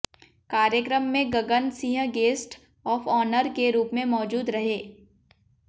कार्यक्रम में Gagan Singh guest of honour के रूप में मौजूद रहे